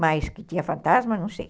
Mas que tinha fantasma, não sei.